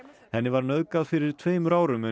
henni var nauðgað fyrir tveimur árum en